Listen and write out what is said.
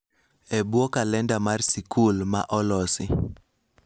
E bwo kalenda mar sikul ma olosi,